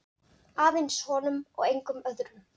Aðeins honum og engum öðrum.